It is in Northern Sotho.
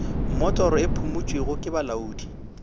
mmotoro e phumotšwego ke bolaodi